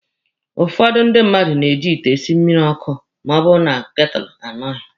Ụfọdụ ndị mmadụ na-eji ite esi mmịrị ọkụ ma ọ bụrụ na ketụlụ anọghị.